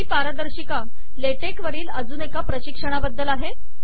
ही पारदर्शिका LaTeX वरील अजून एका प्रशिक्षणाबद्दल आहे